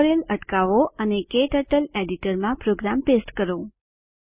tutorial અટકાવો અને KTurtle editor માં પ્રોગ્રામ પેસ્ટ કરો